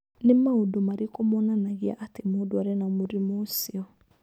Nĩ maũndũ marĩkũ monanagia atĩ mũndũ arĩ na mũrimũ ũcio?